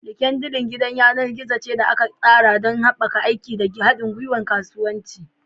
LinkedIn gidan yanar gizo ce da aka tsara don haɓaka aiki da haɗin gwiwar kasuwanci.